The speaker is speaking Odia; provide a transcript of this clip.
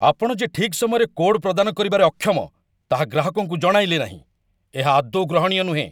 ଆପଣ ଯେ ଠିକ୍ ସମୟରେ କୋଡ୍ ପ୍ରଦାନ କରିବାରେ ଅକ୍ଷମ, ତାହା ଗ୍ରାହକଙ୍କୁ ଜଣାଇଲେ ନାହିଁ, ଏହା ଆଦୌ ଗ୍ରହଣୀୟ ନୁହେଁ।